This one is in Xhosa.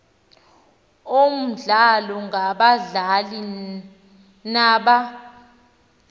omdlalo ngabadlali naba